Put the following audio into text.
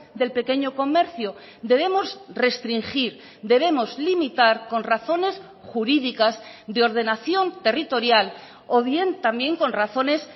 del pequeño comercio debemos restringir debemos limitar con razones jurídicas de ordenación territorial o bien también con razones